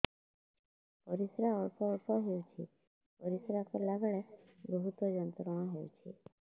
ପରିଶ୍ରା ଅଳ୍ପ ଅଳ୍ପ ହେଉଛି ପରିଶ୍ରା କଲା ବେଳେ ବହୁତ ଯନ୍ତ୍ରଣା ହେଉଛି